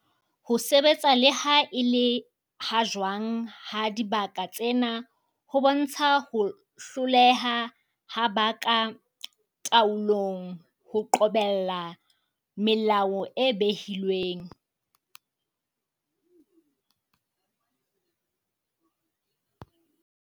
Ho sebetsa le ha e le ha jwang ha dibaka tsena ho bontsha ho hloleha ha ba ka taolong ho qobella melao e behilweng.